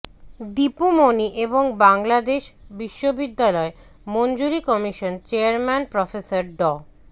দীপু মনি এবং বাংলাদেশ বিশ্ববিদ্যালয় মঞ্জুরি কমিশন চেয়ারম্যান প্রফেসর ড